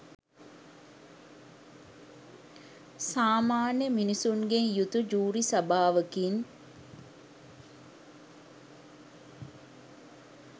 සාමාන්‍ය මිනිසුන්ගෙන් යුතු ජූරි සභාවකින්.